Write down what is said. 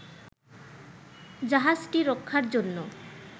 জাহাজটি রক্ষার জন্য